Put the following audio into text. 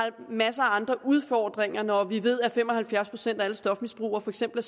masser af andre udfordringer når vi ved at fem og halvfjerds procent af alle stofmisbrugere for eksempel